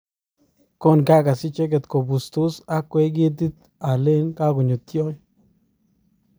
Kongakas icheket koputos akwey ketit alen kakonyo tiony.